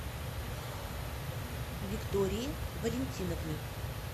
виктории валентиновны